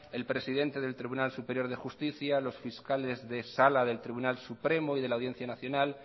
el presidente del tribunal superior de justicia los fiscales de sala del tribunal supremo y de la audiencia nacional